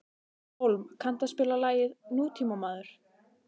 Hólm, kanntu að spila lagið „Nútímamaður“?